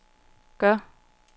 gør